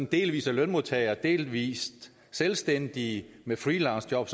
delvis er lønmodtagere delvis selvstændige med freelancejob